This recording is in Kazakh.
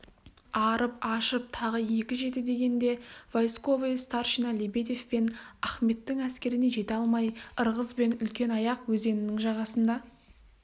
арып-ашып тағы екі жеті дегенде войсковой старшина лебедев пен ахметтің әскеріне жете алмай ырғыз бен үлкенаяқ өзенінің жағасында